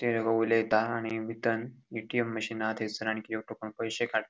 ते उलयेता आणि बितन एटीएम मशीन आ थयसर आणखी एकटो कोण पैशे काड़ ----